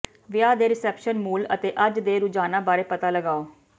ਵਿਆਹ ਦੇ ਰਿਸੈਪਸ਼ਨ ਮੂਲ ਅਤੇ ਅੱਜ ਦੇ ਰੁਝਾਨਾਂ ਬਾਰੇ ਪਤਾ ਲਗਾਓ